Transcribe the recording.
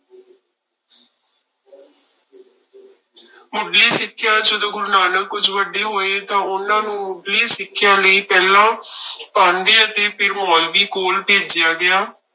ਮੁੱਢਲੀ ਸਿੱਖਿਆ, ਜਦੋਂ ਗੁਰੂ ਨਾਨਕ ਕੁੁੱਝ ਵੱਡੇ ਹੋਏ ਤਾਂ ਉਹਨਾਂ ਨੂੰ ਮੁੱਢਲੀ ਸਿੱਖਿਆ ਲਈ ਪਹਿਲਾਂ ਪਾਂਧੇ ਅਤੇ ਫਿਰ ਮੋਲਵੀ ਕੋਲ ਭੇਜਿਆ ਗਿਆ।